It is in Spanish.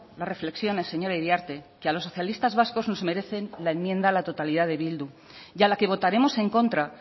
las reflexiones señora iriarte que a los socialistas vascos nos merecen la enmienda a la totalidad de bildu y a la que votaremos en contra